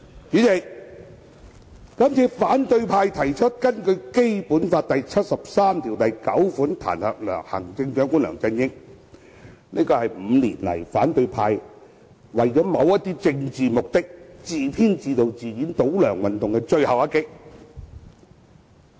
主席，這次反對派提出根據《基本法》第七十三條第九項彈劾行政長官梁振英，是這5年來為了某些政治目的而自編自導自演的倒梁運動的最後一擊。